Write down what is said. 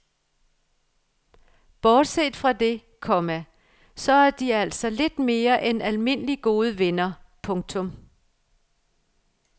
Bortset fra det, komma så er de altså lidt mere end almindeligt gode venner. punktum